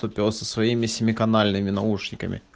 то пёс со своими семиканальными наушники